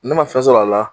Ne ma fɛn sɔrɔ a la